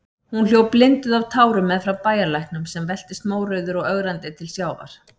Hún hljóp blinduð af tárum meðfram bæjarlæknum, sem veltist mórauður og ögrandi til sjávar.